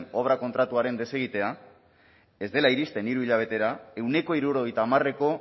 obra kontratuaren desegitea ez dela iristen hiru hilabetera ehuneko hirurogeita hamareko